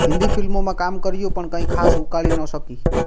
હિન્દી ફિલ્મોમાં કામ કર્યું પણ કંઈ ખાસ ઉકાળી ન શકી